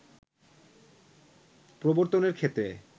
প্রবর্তনের ক্ষেত্রে